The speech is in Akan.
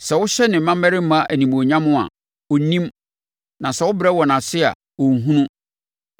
Sɛ wɔhyɛ ne mmammarima animuonyam a, ɔnnim; na sɛ wɔbrɛ wɔn ase a, ɔnhunu.